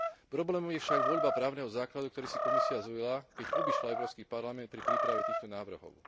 Problémom je však voľba právneho základu, ktorý si Komisia zvolila, keď obišla Európsky parlament pri príprave týchto návrhov.